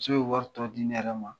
Muso bɛ wari tɔ di ne yɛrɛ ma.